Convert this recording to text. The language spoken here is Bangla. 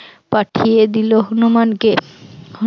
পাঠিয়ে দিল হনুমানকে